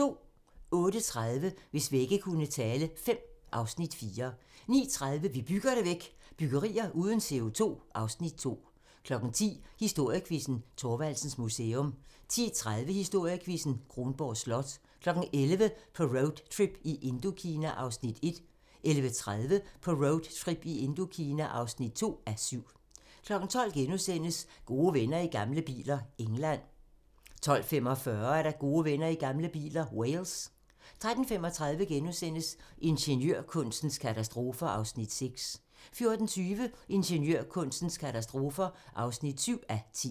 08:30: Hvis vægge kunne tale V (Afs. 4) 09:30: Vi bygger det væk – byggerier uden CO2 (Afs. 2) 10:00: Historiequizzen: Thorvaldsens Museum 10:30: Historiequizzen: Kronborg Slot 11:00: På roadtrip i Indokina (1:7) 11:30: På roadtrip i Indokina (2:7) 12:00: Gode venner i gamle biler - England * 12:45: Gode venner i gamle biler - Wales 13:35: Ingeniørkunstens katastrofer (6:10)* 14:20: Ingeniørkunstens katastrofer (7:10)